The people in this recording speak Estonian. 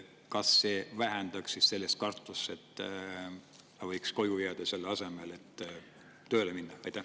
Kas see vähendaks kartust ja ta võiks koju jääda selle asemel, et tööle minna?